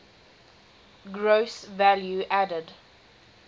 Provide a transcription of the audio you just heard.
gross value added